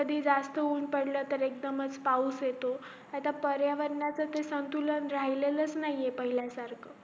कधी जास्त ऊन पड्लकी एकदमच पाऊस येतो नाही तरी पर्यावरणाचं संतुलन राहिलाच नाहीए पाहिल्यासारखं